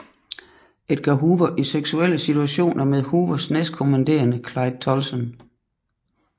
Edgar Hoover i seksuelle situationer med Hoovers næstkommanderende Clyde Tolson